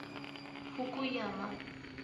фукуяма